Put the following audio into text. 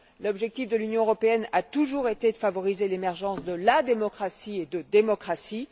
L'objectif de l'Union européenne a toujours été de favoriser l'émergence de la démocratie et de démocraties.